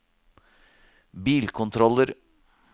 bilkontroller